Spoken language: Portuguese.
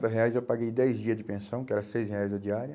reais eu paguei dez dias de pensão, que era seis reais a diária.